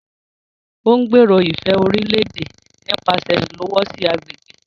O ngbèrò ifẹ orílè-èdè nipasẹ ilowosi agbègbè